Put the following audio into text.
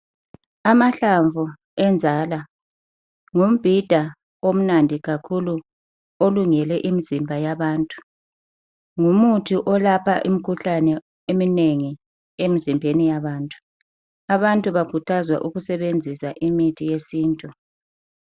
Amahlamvu enjaka ngumbhida omnandi kakhulu olungele imizimba yabantu, ngumuthi olapha imikhuhlane eminengi emzimbeni yabantu. Abantu bakhuthazwa ukusebenzisa imithi yesintu.